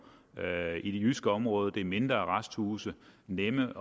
i det jyske område det er mindre arresthuse nemme